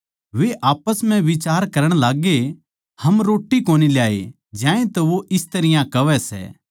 वे आप्पस म्ह बिचार करण लाग्गे हम रोट्टी कोनी ल्याए ज्यांतै वो इस तरियां कहवै सै